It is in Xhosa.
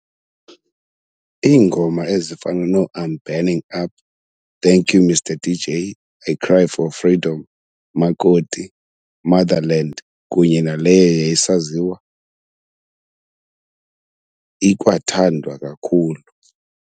Iingoma ezifana noo"I'm Burning Up", "thank you mister dj", "I Cry for Freedom", "Makoti", "Motherland" kunye naleyo yayisaziwa ikwathandwa kakhulu